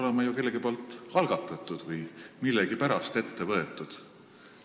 – see peab olema ju kellegi algatatud või millegi pärast ette võetud.